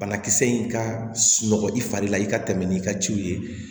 Banakisɛ in ka sunɔgɔ i fari la i ka tɛmɛ n'i ka ciw ye